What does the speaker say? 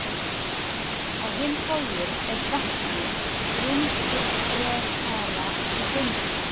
Á hinn bóginn er vetni rúmfrekara í geymslu.